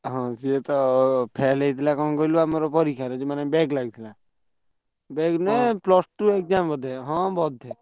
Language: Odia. ହଁ ସିଏ ତ ଆମର fail ହେଇଥିଲା କଣ କହିଲୁ ଆମର ପରୀକ୍ଷାରେ ଯୋଉ ମାନେ back ଲାଗିଥିଲା back ମାନେ plus two exam ବୋଧେ ହଁ ବୋଧେ।